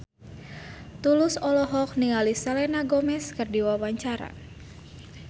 Tulus olohok ningali Selena Gomez keur diwawancara